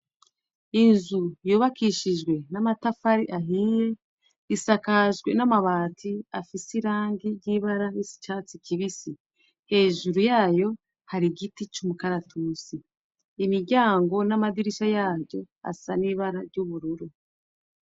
Inzu yubakishijwe n'amatafari ahiye, isakajwe n'amabati afise irangi ry'ibara y'icatsi kibisi. Hejuru yayo hari igiti c'umukaratusi. Imiryango n'amadirisha yaryo asa n'ibara ry'ubururu.